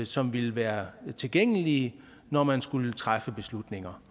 som ville være tilgængelige når man skulle træffe beslutninger